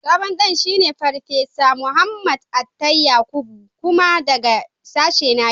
Sabon Dean shine Farfesa Muhammad Attai Yakubu. Kuma daga sashena yake.